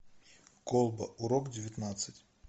колба урок девятнадцать